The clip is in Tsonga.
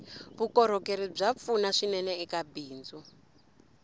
vukorhokeri bya pfuna swinene eka bindzu